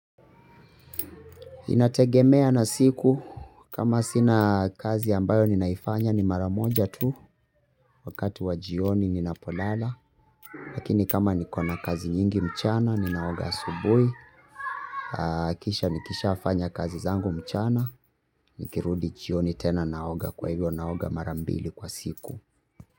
Inategemea na siku kama sina kazi ambayo ninaifanya ni maramoja tu wakati wa jioni ninapolala. Lakini kama nikona kazi nyingi mchana ninaoga asubuhi. Kisha nikishafanya kazi zangu mchana nikirudi jioni tena naoga kwa hivyo naoga mara mbili kwa siku.